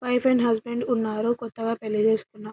wife and husband ఉన్నారు కొత్తగా పెళ్లి చేసుకున్నా --